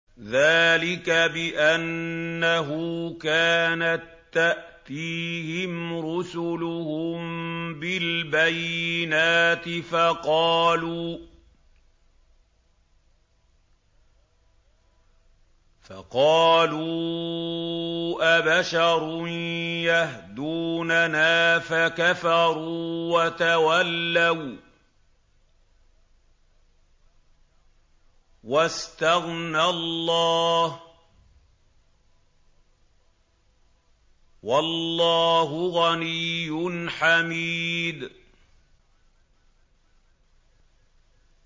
ذَٰلِكَ بِأَنَّهُ كَانَت تَّأْتِيهِمْ رُسُلُهُم بِالْبَيِّنَاتِ فَقَالُوا أَبَشَرٌ يَهْدُونَنَا فَكَفَرُوا وَتَوَلَّوا ۚ وَّاسْتَغْنَى اللَّهُ ۚ وَاللَّهُ غَنِيٌّ حَمِيدٌ